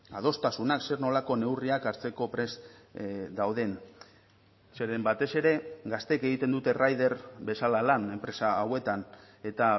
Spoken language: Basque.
adostasunak zer nolako neurriak hartzeko prest dauden zeren batez ere gazteek egiten dute rider bezala lan enpresa hauetan eta